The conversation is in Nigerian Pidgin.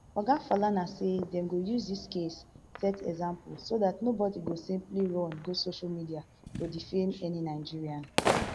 oga falana say dem go use dis case set example so dat nobody go simply run go social media to defame any nigerian